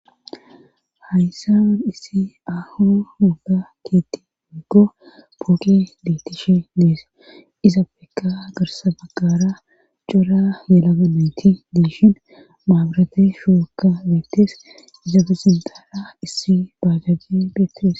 Hayyssawan issi ahu woga keetti biggo pooke dettishe dees izabeka girsa baggara cora melagameti diishin maabarate shookka beettes izabe sindala issi baajajje beetires.